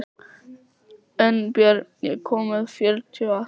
Unnbjörn, ég kom með fjörutíu og átta húfur!